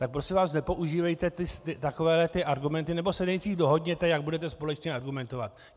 Tak prosím vás, nepoužívejte takovéhle argumenty, nebo se nejdřív dohodněte, jak budete společně argumentovat.